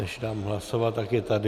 Než dám hlasovat, tak je tady.